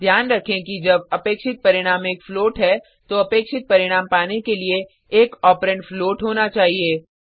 ध्यान रखें कि जब अपेक्षित परिणाम एक फ्लोट है तो अपेक्षित परिणाम पाने के लिए एक ऑपरेंड फ्लोट होना चाहिए